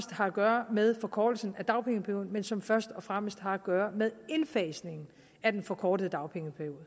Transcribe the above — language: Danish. har at gøre med forkortelsen af dagpengeperioden men som først og fremmest har at gøre med indfasningen af den forkortede dagpengeperiode